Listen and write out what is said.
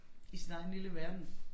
I sin egen lille verden